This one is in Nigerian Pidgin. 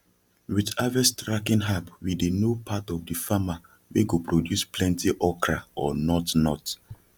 with harvest tracking appwe dey know part of the farmer wey go produce plenty okra or not not